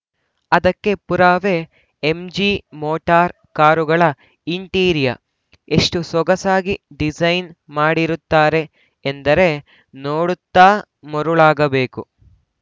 ಅದಕ್ಕೆ ಪುರಾವೆ MG Motor ಕಾರುಗಳ ಇಂಟೀರಿಯರ್‌ ಎಷ್ಟುಸೊಗಸಾಗಿ ಡಿಸೈನ್‌ ಮಾಡಿರುತ್ತಾರೆ ಎಂದರೆ ನೋಡುತ್ತಾ ಮರುಳಾಗಬೇಕು